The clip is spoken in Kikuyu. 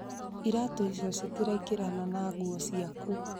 Iraatũ icio citiraigirana na nguo ciaku